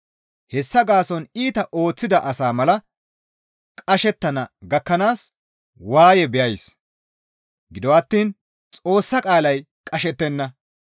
Hessa gaason iita ooththida asa mala qashettana gakkanaas waaye beyays; gido attiin Xoossa qaalay qashettenna.